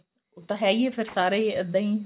ਉਹ ਤਾਂ ਹੈ ਈ ਏ ਫ਼ਿਰ ਸਾਰੇ ਹੀ ਇੱਦਾ ਈ